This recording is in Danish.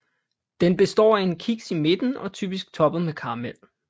Den består af en kiks i midten og typisk toppet med karamel